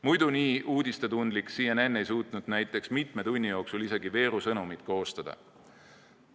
Muidu nii uudisetundlik CNN ei suutnud näiteks mitme tunni jooksul isegi veerusõnumit koostada.